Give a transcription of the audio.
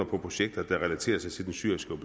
på projekter der relaterer sig til den syriske